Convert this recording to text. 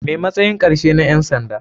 Me matsayin karshe na ƴan sanda.